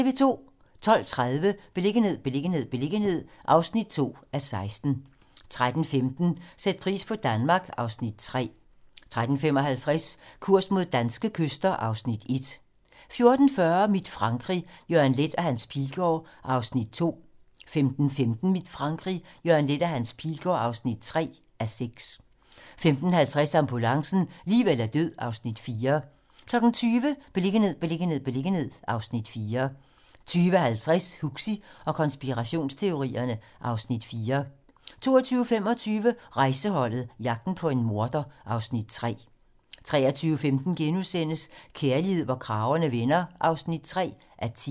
12:30: Beliggenhed, beliggenhed, beliggenhed (2:16) 13:15: Sæt pris på Danmark (Afs. 3) 13:55: Kurs mod danske kyster (Afs. 1) 14:40: Mit Frankrig - Jørgen Leth og Hans Pilgaard (2:6) 15:15: Mit Frankrig - Jørgen Leth og Hans Pilgaard (3:6) 15:50: Ambulancen - liv eller død (Afs. 4) 20:00: Beliggenhed, beliggenhed, beliggenhed (Afs. 4) 20:50: Huxi og konspirationsteorierne (Afs. 4) 22:25: Rejseholdet - jagten på en morder (Afs. 3) 23:15: Kærlighed, hvor kragerne vender (3:10)*